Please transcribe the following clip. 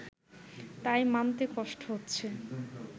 তাই মানতে কষ্ট হচ্ছে